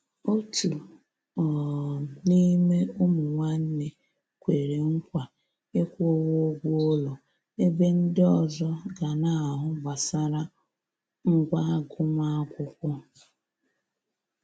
Òtù um n'ime ụmụ nwánne kwere nkwa ịkwụwa ụgwọ ụlọ, ebe ndi ọzọ ga na-ahụ gbasara ngwá agụmakwụkwọ.